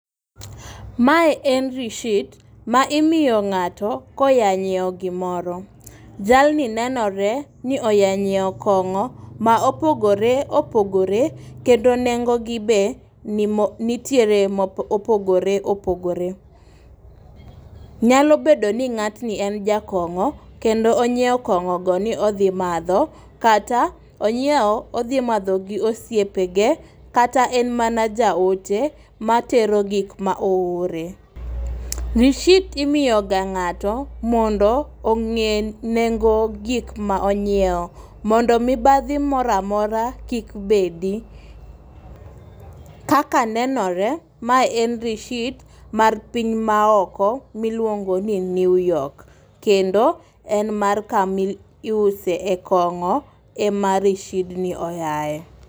Mae en rishit ma imiyo ng'ato koya nyiewo gimoro .Jalni nenore ni oya nyiewo kong'o ma opogore opogore kendo nengo gi be be nomo nitiere mopogore opogore. Nyalo bedo ni ng'atni en jakongo' kendo onyiewo kong'o go ni odhi madho, kata onyiewo odhi madho gosiepe ge kata en mana jaote matero gik ma oore. Rishit imiyo ga ng'ato mondo ng'e nengo gik ma onyiewo mondo mibadhi moramora kik bedi . Kaka nenore mae en rishit mar piny maoko miluongo ni newyork kendo en mar kami iuse kong'o ema risid ni oyae.